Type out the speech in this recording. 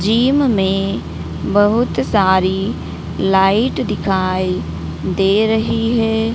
Gym में बहुत सारी लाइट दिखाई दे रही है।